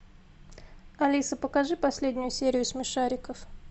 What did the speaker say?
алиса покажи последнюю серию смешариков